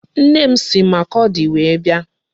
Nne m si Makurdi wee bịa.